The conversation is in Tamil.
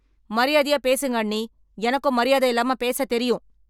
மரியாதையா பேசுங்க அண்ணி, எனக்கும் மரியாதை இல்லாம பேச தெரியும் .